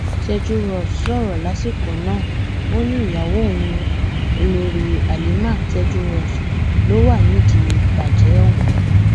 tejúros sọrọ lásìkò náà ó ní ìyàwó òun olórí halima tejúros ló wà nídìí ìbàjẹ òun